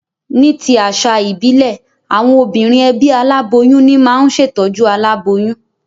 Ní ti àsà ìbílè, àwon obìnrin ebí aláboyún ní ma n se tójú aláboyún